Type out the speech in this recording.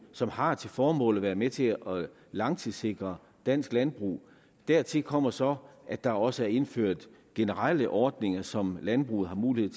som har til formål at være med til at langtidssikre dansk landbrug dertil kommer så at der også er indført generelle ordninger som landbruget har mulighed